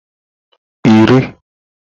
iri